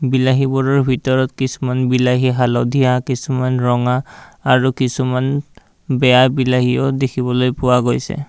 বিলাহীবোৰৰ ভিতৰত কিছুমান বিলাহী হালধীয়া কিছুমান ৰঙা আৰু কিছুমান বেয়া বিলাহীও দেখিবলৈ পোৱা গৈছে।